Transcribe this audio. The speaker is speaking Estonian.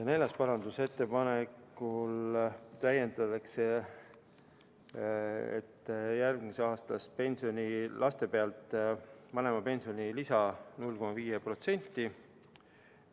Neljanda parandusettepanekuga täiendatakse, et järgmisest aastast laste pealt vanemale makstavat pensionilisa 0,5%.